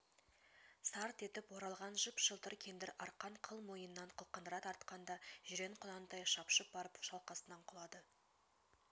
сарт етіп оралған жып-жылтыр кендір арқан қыл мойыннан қылғындыра тартқанда жирен құнан тіе шапшып барып шалқасынан құлады